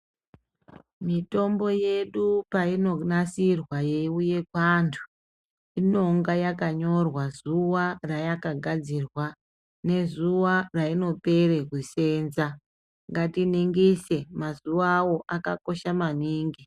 Mitombo yedu payinonasirwa yewuye kwantu, inonga yakanyorwa zuwa rayakagadzirwa nezuwa rayinopere kusenza . Ngatiningise mazuwawo akakosha maningi.